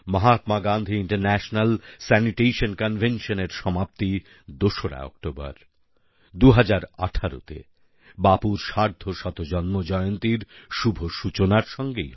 Mahatma Gandhi international sanitation Conventionএর সমাপ্তি ২রা অক্টোবর ২০১৮তে বাপুর সার্ধশত জন্ম জয়ন্তীর শুভ সূচনার সঙ্গেই হবে